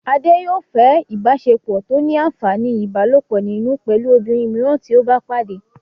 Adé yòó fẹ́ ìbáṣepọ̀ tó ní àǹfàní ìbálòpọ̀ nínú pẹ̀lú obìnrin mìíràn tí ó bá pàdé